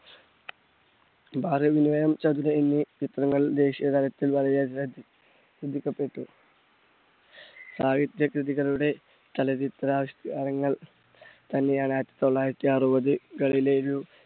എന്നീ ചിത്രങ്ങൾ ദേശിയ തലത്തിൽ വളരെ അധികം ശ്രദ്ധിക്കപെട്ടു. സാഹിത്യ കൃതികളുടെ ചലച്ചിത്ര ആവിഷ്കാരങ്ങൾ തന്നെ ആണ് ആയിരത്തി തൊള്ളായിരത്തി അറുപതുകളിലെ